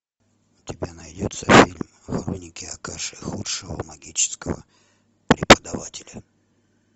у тебя найдется фильм хроники акаши худшего магического преподавателя